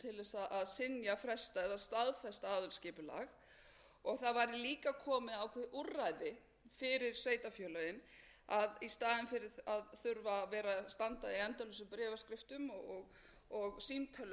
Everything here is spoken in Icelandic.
til þess að synja fresta eða staðfesta aðalskipulag það væri líka komið á þau úrræði fyrir sveitarfélögin að í staðinn fyrir að þurfa að vera að standa í endalausum bréfaskriftum og símtölum í því að reyna að fá einhverjar